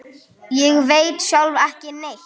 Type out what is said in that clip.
Ég veit sjálf ekki neitt.